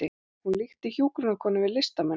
Hún líkti hjúkrunarkonum við listamenn